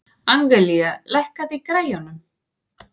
Angelía, lækkaðu í græjunum.